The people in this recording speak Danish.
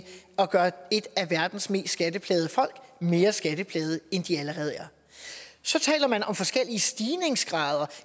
at gøre et af verdens mest skatteplagede folk mere skatteplagede end de allerede er så taler man om forskellige stigningsgrader